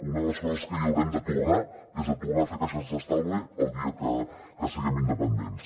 una de les coses que hi haurem de tornar és tornar a fer caixes d’estalvi el dia que siguem independents